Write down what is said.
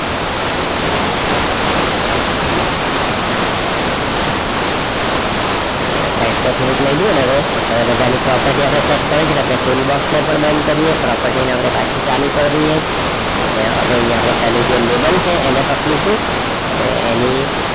આપડે એને side પર થોડુક લઈ લીધું ને હવે, હવે બધાની property આપડે search tool box પણ બંધ કરીયે property ને આપડે પાછી ચાલું કરી દઈએ અને અહિયાં આપડે જે પહેલું label છે એને પકડીશું અને એની,